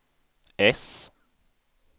äss